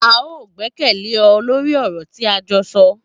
A o gbẹkẹle ọ lórí ọ̀rọ̀ tí a jọ sọ